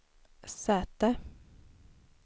säte